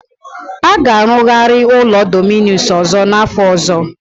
A ga-arụgari ụlọ Dominus ọzọ n'afọ ọzọ.